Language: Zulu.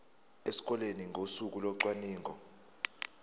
esikoleni ngosuku locwaningo